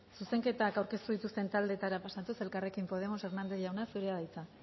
zuzenketak aurkeztu dituzten taldeetara pasatuz elkarrekin podemos hernández jauna zurea da hitza